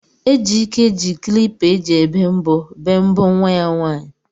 Ejike ji klipa eji ebe mbọ bee mbọ nwa ya nwaanyị.